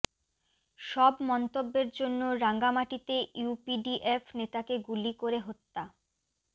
সব মন্তব্যের জন্য রাঙ্গামাটিতে ইউপিডিএফ নেতাকে গুলি করে হত্যা